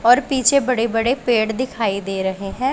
और पीछे बड़े बड़े पेड़ दिखाई दे रहे हैं।